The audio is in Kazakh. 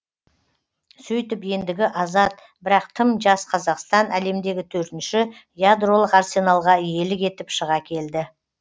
сөйтіп ендігі азат бірақ тым жас қазақстан әлемдегі төртінші ядролық арсеналға иелік етіп шыға келді